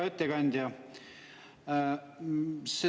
Hea ettekandja!